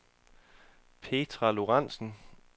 Petra Lorenzen